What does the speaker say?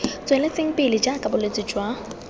tsweletseng pele jaaka bolwetse jwa